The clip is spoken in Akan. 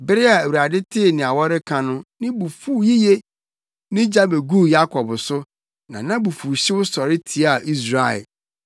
Bere a Awurade tee nea wɔreka no, ne bo fuw yiye; ne gya beguu Yakob so, na nʼabufuwhyew sɔre tiaa Israel,